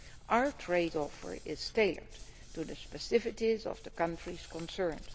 Our trade offer is tailored to the specificities of the countries concerned.